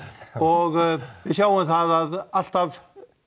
og við sjáum það að alltaf